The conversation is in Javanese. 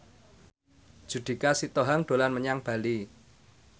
Judika Sitohang dolan menyang Bali